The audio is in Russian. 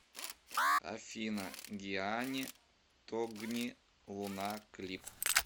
афина гиани тогни луна клип